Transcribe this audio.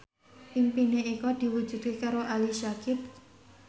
impine Eko diwujudke karo Ali Syakieb